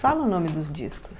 Fala o nome dos discos.